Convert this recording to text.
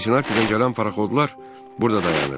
Sinsinatidən gələn parxodlar burada dayanır.